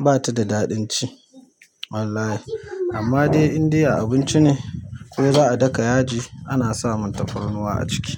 bata da daɗin ci wallahi. Amma dai indai a abinci ne ko za'a daka yaji ana samun tafarnuwa a ciki.